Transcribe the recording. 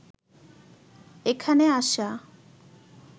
এখানে আসা